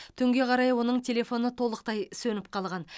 түнге қарай оның телефоны толықтай сөніп қалған